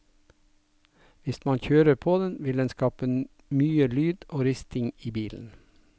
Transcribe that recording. Hvis man kjører på den, vil den skape mye lyd og risting i bilen.